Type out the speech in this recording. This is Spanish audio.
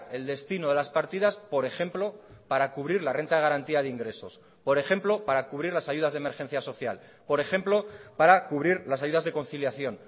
el destino de las partidas por ejemplo para cubrir la renta de garantía de ingresos por ejemplo para cubrir las ayudas de emergencia social por ejemplo para cubrir las ayudas de conciliación